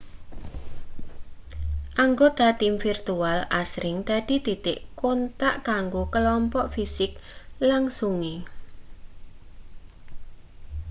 anggota tim virtual asring dadi titik kontak kanggo klompok fisik langsunge